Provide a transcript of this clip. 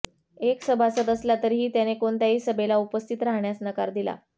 एक सभासद असला तरीही त्याने कोणत्याही सभेला उपस्थित राहण्यास नकार दिला